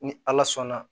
Ni ala sɔnna